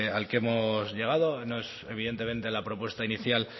al que hemos llegado no es evidentemente la propuesta inicial